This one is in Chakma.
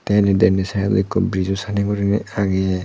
te endi denendi sidedot ekku brizo sanni goriney agey.